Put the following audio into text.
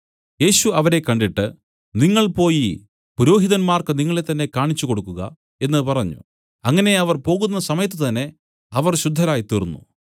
യേശു അവരെ കണ്ടിട്ട് നിങ്ങൾ പോയിപുരോഹിതന്മാർക്കു നിങ്ങളെ തന്നേ കാണിച്ചു കൊടുക്കുക എന്നു പറഞ്ഞു അങ്ങനെ അവർ പോകുന്ന സമയത്തുതന്നെ അവർ ശുദ്ധരായ്തീർന്നു